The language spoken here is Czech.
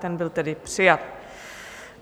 Ten byl tedy přijat.